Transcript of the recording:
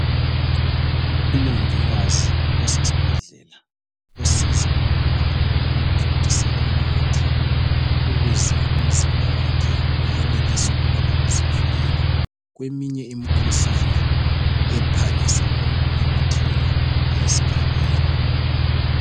Umongikazi osesibhedlela osiza umntwana ngokumthontisela umuthi ukuze umzimba wakhe uyenelise ukubana uzivikele kweminye imikhuhlane ephangisa ngokumemetheka esgabeni.